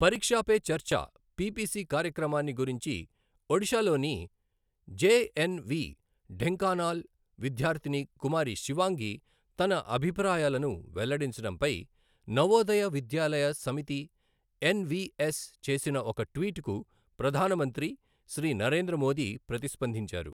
పరీక్షా పే చర్చా పిపిసి కార్యక్రమాన్ని గురించి ఒడిశా లోని జెఎన్ వి ఢెంకానాల్ విద్యార్థిని కుమారి శివాంగి తన అభిప్రాయాలను వెల్లడించడంపై నవోదయ విద్యాలయ సమితి ఎన్ విఎస్ చేసిన ఒక ట్వీట్ కు ప్రధాన మంత్రి శ్రీ నరేంద్ర మోదీ ప్రతిస్పందించారు.